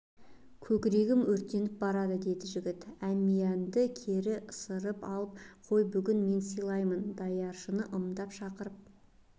көкірегім өртеніп барады деді жігіт әмиянды кері ысырды салып қой бүгін мен сыйлайын даяшыны ымдап шақырып